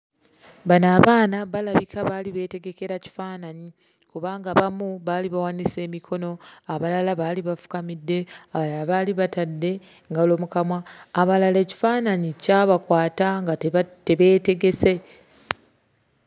Bano abaana balabika baali beetegekera kifaananyi kubanga abamu baali bawanise emikono, abalala baali bafukamidde, abalala baali batadde ngalo mu kamwa, abalala ekifaananyi kyabakwata nga tebeetegese.